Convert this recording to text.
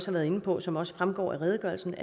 har været inde på og som også fremgår af redegørelsen